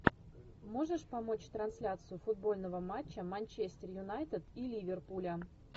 можешь помочь трансляцию футбольного матча манчестер юнайтед и ливерпуля